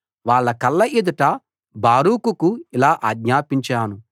వాళ్ళ కళ్ళ ఎదుట బారూకుకు ఇలా ఆజ్ఞాపించాను